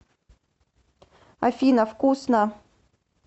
афина вкусно